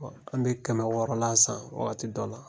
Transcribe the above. an bɛ kɛmɛ wɔɔrɔ la san wagati dɔ la.